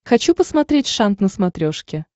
хочу посмотреть шант на смотрешке